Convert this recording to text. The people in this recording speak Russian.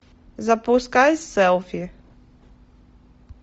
запускай селфи